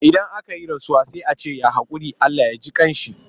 Idan aka yi rasuwa sai a ce ya haƙuri? Allah ya ji ƙan sa.